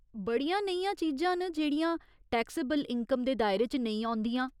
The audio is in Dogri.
बड़ियां नेहियां चीजां न जेह्ड़ियां टैक्सेबल इनकम दे दायरे च नेईं औंदिंया।